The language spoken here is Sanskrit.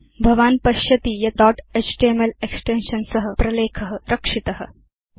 भवान् पश्यति यत् दोत् एचटीएमएल एक्सटेन्शन् सह प्रलेख रक्षित अभवत्